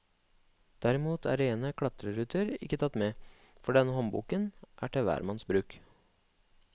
Derimot er rene klatreruter ikke tatt med, for denne håndboken er til hvermanns bruk.